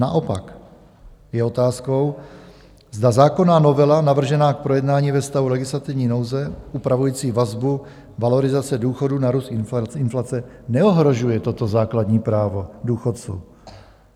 Naopak je otázkou, zda zákonná novela navržená k projednání ve stavu legislativní nouze upravující vazbu valorizace důchodů na růst inflace neohrožuje toto základní právo důchodců.